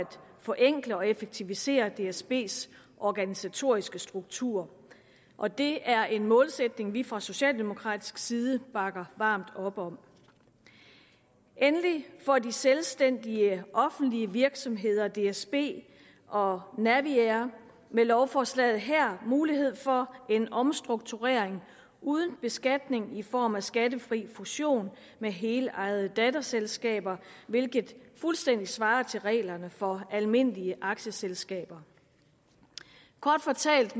forenkle og effektivisere dsbs organisatoriske struktur og det er en målsætning vi fra socialdemokratisk side bakker varmt op om endelig får de selvstændige offentlige virksomheder dsb og naviair med lovforslaget her mulighed for en omstrukturering uden beskatning i form af skattefri fusion med helejede datterselskaber hvilket fuldstændig svarer til reglerne for almindelige aktieselskaber kort fortalt